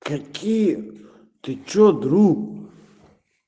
какие ты что друг